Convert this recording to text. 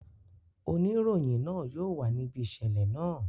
Oniroyin naa yóò wa nibi iṣẹlẹ naa.